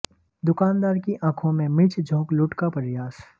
दुकानदार की आंखों में मिर्च झोंक लूट का प्रयास